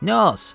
Nə az.